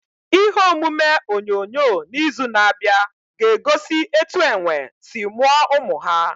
Ihe omume onyonyo n'izu na-abịa ga-egosi etu enwe si mụọ ụmụ ha.